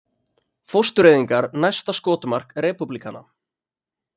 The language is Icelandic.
Fóstureyðingar næsta skotmark repúblikana